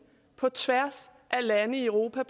på tværs af lande i europa